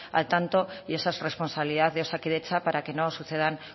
al tanto y esa es responsabilidad de osakidetza para que no sucedan